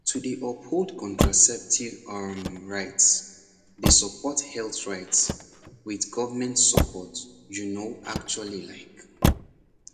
to dey uphold contraceptive um rights dey support health rights with government support you know actually like